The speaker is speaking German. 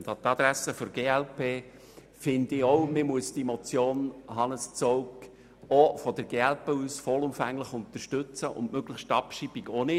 An die Adresse der glp und Hannes Zaugg: Ich finde auch, dass man die Motion aus Sicht der glp vollumfänglich unterstützen und die Abschreibung ebenfalls möglichst ablehnen muss.